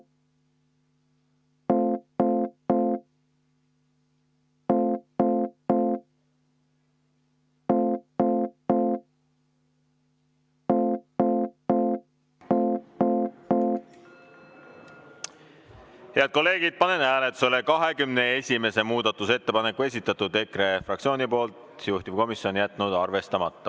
Head kolleegid, panen hääletusele 21. muudatusettepaneku, esitatud EKRE fraktsiooni poolt, juhtivkomisjon jätnud arvestamata.